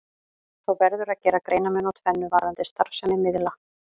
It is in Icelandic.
Þó verður að gera greinarmun á tvennu varðandi starfsemi miðla.